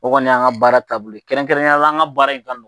O kɔni yan ka baara taabolo ye, kɛrɛnkɛrɛnnenya la an ka baara in ka nɔgɔ.